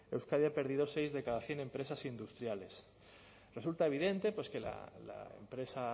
euskadi ha perdido seis de cada cien empresas industriales resulta evidente que la empresa